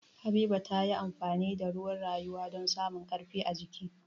Habiba ta yi amfani da ruwan rayuwa don samu ƙarfi ajiki.